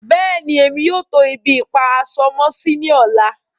Bẹ́ẹ̀ni, emi yóò tó ibi-ipa-aṣọ-mọ-sí ní ọ̀lá.